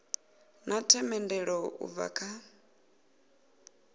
na themendelo u bva kha